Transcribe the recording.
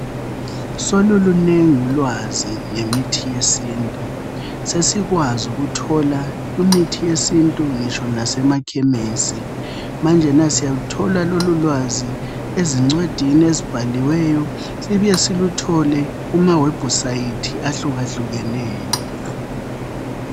Solulunengi ulwazi ngemithi yesintu , sesikwazi ukuthola imithi yesintu ngitsho nasemakhemisi , manjena siyathola lolulwazi ezincwadini ezibhaliweyo sibuye siluthole kuma website ahlukahlukeneyo